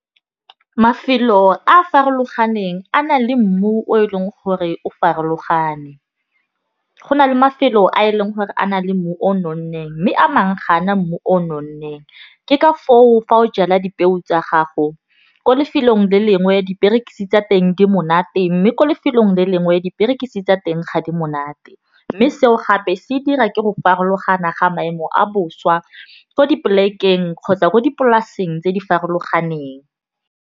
Mafelo a a farologaneng a na le mmu o e leng gore o farologane. Go na le mafelo a e leng gore a na le mmu o nonneng. Mme a mangwe kga ana mmu o nonneng ke ka foo fa o jala dipeo tsa gago ko lefelong le lengwe diperekisi tsa teng di monate. Mme ko lefelong le lengwe diperekisi tsa teng ga di monate. Mme seo gape se dira ke go farologana ga maemo a boswa ko di plek-eng kgotsa ko dipolaseng tse di farologaneng.